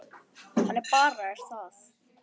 Þannig bara er það.